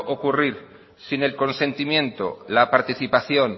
ocurrir sin el consentimiento la participación